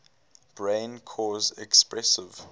brain cause expressive